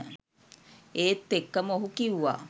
ඒත් එක්කම ඔහු කිව්වා